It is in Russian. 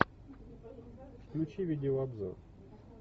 включи видеообзор